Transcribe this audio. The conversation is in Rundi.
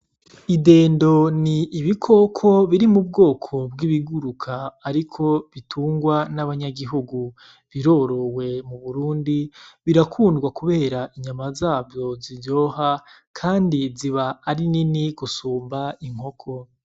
Idendo ni ibikoko biri mu bwoko bw’ibiguruka ariko bitungwa n’abanyagihugu , birorowe mu Burundi birakunda Kubera inyama zavyo ziryoha kandi ziba ari nini gusumba inkoko.